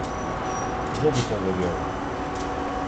Kdo bi to verjel?